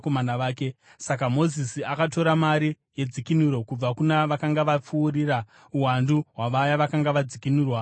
Saka Mozisi akatora mari yedzikinuro kubva kuna vakanga vapfuurira uwandu hwavaya vakanga vadzikinurwa navaRevhi.